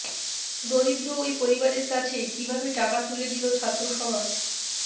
দরিদ্র ওই পরিবারের কাছে কীভাবে টাকা তুলে দিল ছাত্রসমাজ